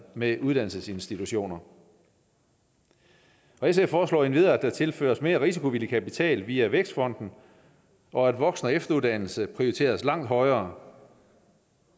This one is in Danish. med uddannelsesinstitutioner og sf foreslår endvidere at der tilføres mere risikovillig kapital via vækstfonden og at voksen og efteruddannelse prioriteres langt højere